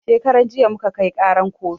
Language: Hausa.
Shekaran jiya muka kai ƙaran kotu